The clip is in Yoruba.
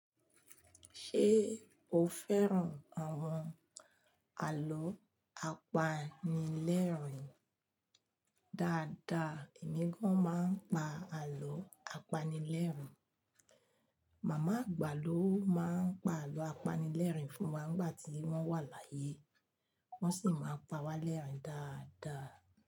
Ṣé o fẹ́ràn àwọn àlọ́ apanilẹ́rìn? Dáadáa, èmi gan máa ń pa àlọ́ apanilẹ́rìn. Màmá àgbà ló máa ń pa àlọ́ apanilẹ́rìn fún wa nígbà tí wọ́n wà láyé, wọ́n sì máa ń pa wá lẹ́rìn dáadáa.